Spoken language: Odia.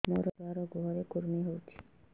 ମୋ ଛୁଆର୍ ଗୁହରେ କୁର୍ମି ହଉଚି